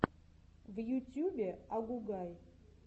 в ютьюбе агугай